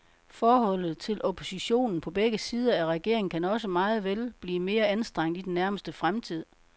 Forholdet til oppositionen på begge sider af regeringen kan også meget vel blive mere anstrengt i den nærmeste fremtid.